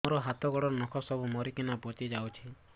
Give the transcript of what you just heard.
ମୋ ହାତ ଗୋଡର ନଖ ସବୁ ମରିକିନା ପଚି ଯାଉଛି